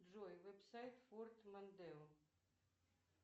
джой вебсайт форд мондео